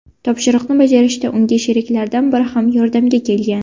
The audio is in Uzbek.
Topshiriqni bajarishda unga sheriklaridan biri ham yordamga kelgan.